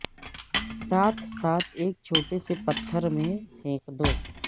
ساتھ ساتھ ایک چھوٹے سے پتھر میں پھینک دو